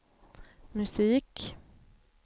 musik